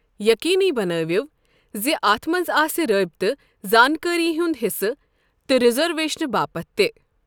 یقینی بنٲوِو زِ اتھ منز آسہِ رٲبطہ زانكٲری ہٗند حصہٕ تہٕ رزرویشنہٕ باپت تہِ۔